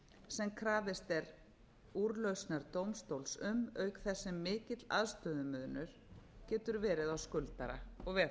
sem krafist er úrlausnar dómstóls um auk þess sem mikill aðstöðumunur getur verið á skuldara og